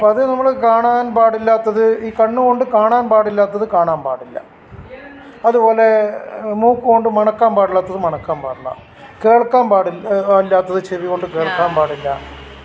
അപ്പൊ അത് നമ്മൾ കാണാൻ പാടില്ലാത്തത് ഈ കണ്ണ് കൊണ്ട് കാണാൻ പാടില്ലാത്തത് കാണാൻ പാടില്ല അതുപോലെ മൂക്ക് കൊണ്ട് മണക്കാൻ പാടില്ലാത്തത് മണക്കാൻ പാടില്ല കേൾക്കാൻ പാടില്ലാത്തത് ചെവികൊണ്ട് കേൾക്കാൻ പാടില്ല